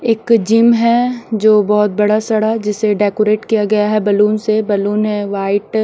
एक जिम है जो बहुत बड़ा सड़ा जिसे डेकोरेट किया गया है बलून से बलून है व्हाइट ।